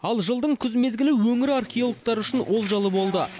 ал жылдың күз мезгілі өңір археологтары үшін олжалы болды